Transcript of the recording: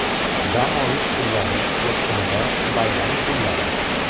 Dam olish kunlari: Yakshanba, bayram kunlari.